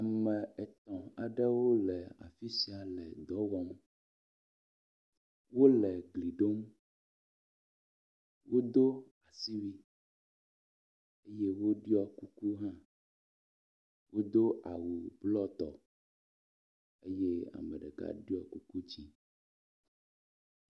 ame etɔ aɖewo le afisia le dɔwɔm wóle gliɖom woɖó asiwui woɖuɔ kuku hã wodó awu blɔtɔ eye ameɖeka ɖɔ kuku dzĩ